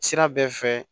Sira bɛɛ fɛ